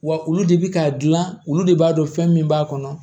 Wa olu de bi ka gilan olu de b'a dɔn fɛn min b'a kɔnɔ